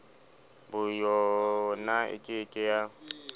boyona e ke ke ya